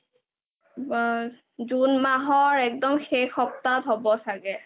আ june মাহ একদম শেষ সাপ্তাহত হ'ব চাগে